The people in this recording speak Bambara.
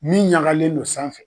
Min ɲagalen no sanfɛ.